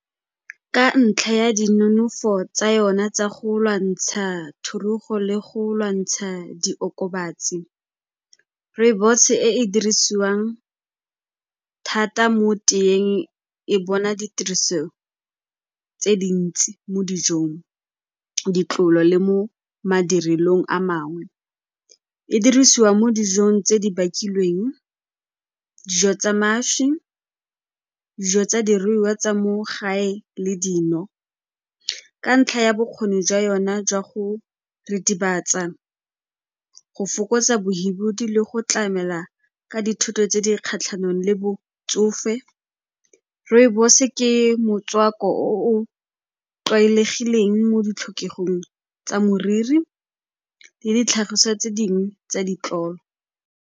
Ka ntlha ya dinonofo tsa yona tsa go lwantsha thurugo le go lwantsha diokobatsi, rooibos-e e e dirisiwang thata mo teyeng e bona ditiriso tse dintsi mo dijong, ditlolo le mo madirelong a mangwe. E dirisiwa mo dijong tse di bakilweng, dijo tsa mašwi, dijo tsa diruiwa tsa mo gae le dino. Ka ntlha ya bokgoni jwa yona jwa go ritibatsa, go fokotsa bohibidu le go tlamela ka tse di kgatlhanong le botsofe, rooibos-e ke motswako o o tlwaelegileng mo ditlhokegong tsa moriri le ditlhagiso tse dingwe tsa ditlolo.